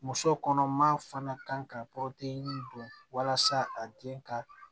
Muso kɔnɔma fana kan ka don walasa a den ka